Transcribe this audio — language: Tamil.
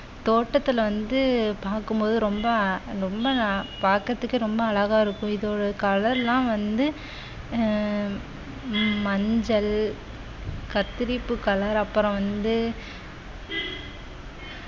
தோட்டத்தில வந்து பார்க்கும் போது ரொம்ப ரொம்ப ந~ பாக்குறதுக்கே ரொம்ப அழகா இருக்கும் இதோட colour லாம் வந்து ஆஹ் மஞ்சள் கத்தரிப்பு colour அப்புறம் வந்து